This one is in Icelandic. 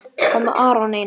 Hvað með Aron Einar?